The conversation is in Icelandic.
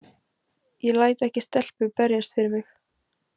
Ég læt ekki stelpu berjast fyrir mig